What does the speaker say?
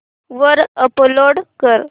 वर अपलोड कर